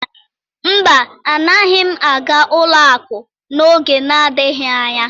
mba agaghị m aga ụlọ akụ n'oge na-adịghị anya.